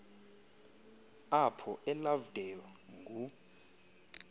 apho elovedale ngu